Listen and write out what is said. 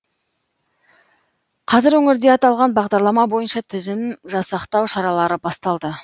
қазір өңірде аталған бағдарлама бойынша тізім жасақтау шаралары басталды